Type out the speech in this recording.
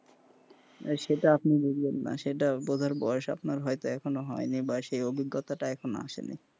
সেটা আপনি বুঝবেন না সেটা বুঝার বয়স হয়তো আপনার এখনো হয়নি বা সেই অবজ্ঞতা এখনো আসেনি,